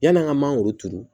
Yann'an ka mangoro turu